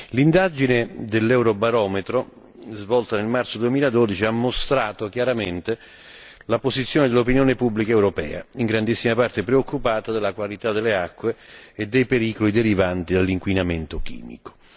L'indagine dell'Eurobarometro svolta nel marzo 2012 ha mostrato chiaramente la posizione dell'opinione pubblica europea, in grandissima parte preoccupata della qualità delle acque e dei pericoli derivanti dall'inquinamento chimico.